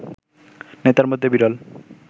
নেতার মধ্যে বিরল